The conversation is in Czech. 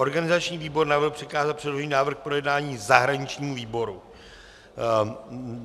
Organizační výbor navrhl přikázat předložený návrh k projednání zahraničnímu výboru.